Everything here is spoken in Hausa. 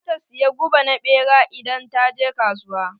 Za ta saya guba na ɓera idan ta je kasuwa.